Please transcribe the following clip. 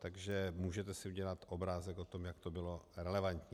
Takže můžete si udělat obrázek o tom, jak to bylo relevantní.